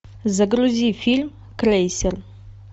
загрузи фильм крейсер